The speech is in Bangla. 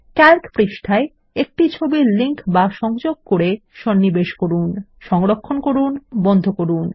ক্যালক পৃষ্ঠায় একটি সংযোগ হিসাবে একটি চিত্র সন্নিবেশ করুন সংরক্ষণ করুন এবং বন্ধ করুন